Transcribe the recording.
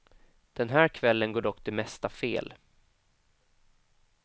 Den här kvällen går dock det mesta fel.